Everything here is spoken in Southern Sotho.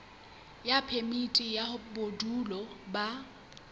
ya phemiti ya bodulo ba